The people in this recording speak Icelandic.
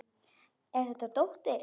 Er þetta dóttir.